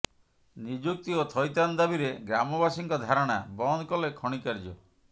ନିଯୁକ୍ତି ଓ ଥଇଥାନ ଦାବିରେ ଗ୍ରାମବାସୀଙ୍କ ଧାରଣା ବନ୍ଦ କଲେ ଖଣି କାର୍ଯ୍ୟ